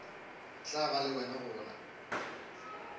tla ba le wena gona